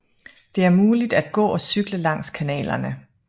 De er muligt at gå og cykle langs kanalerne